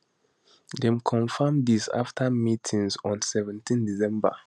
dem confam dis afta meetings on seventeendecember